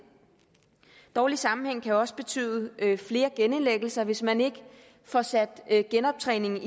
dårlig sammenhæng kan også betyde flere genindlæggelser hvis man ikke får sat genoptræningen